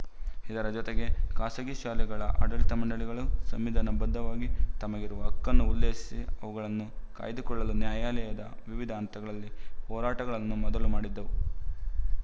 ಇದರ ಜೊತೆಗೆ ಖಾಸಗಿ ಶಾಲೆಗಳ ಆಡಳಿತ ಮಂಡಳಿಗಳು ಸಂವಿಧಾನ ಬದ್ಧವಾಗಿ ತಮಗಿರುವ ಹಕ್ಕನ್ನು ಉಲ್ಲೇಖಿಸಿ ಅವುಗಳನ್ನು ಕಾಯ್ದುಕೊಳ್ಳಲು ನ್ಯಾಯಾಲಯದ ವಿವಿಧ ಹಂತಗಳಲ್ಲಿ ಹೋರಾಟಗಳನ್ನು ಮೊದಲು ಮಾಡಿದ್ದವು